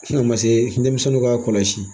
A ma se denmisɛnninw k'a kɔlɔsi